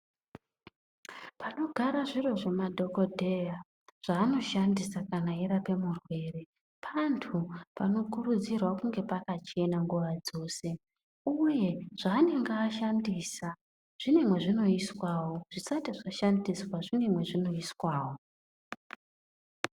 Panogara zviro zvemadhokodheya zvaanoshandisa kana eirape murwere pantu panokurudzirwa kunge pakachena nguwa dzose uye zvaanenge ashandisa zvine mwezvinoiswawo zvisati zvashandiswa zvine mwezvinoiswawo.